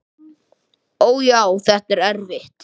Ó, já, þetta er erfitt.